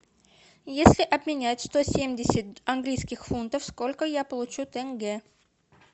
если обменять сто семьдесят английских фунтов сколько я получу тенге